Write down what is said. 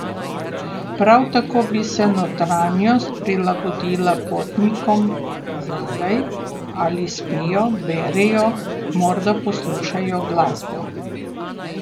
Prav tako bi se notranjost prilagodila potnikom zadaj, ali spijo, berejo, morda poslušajo glasbo.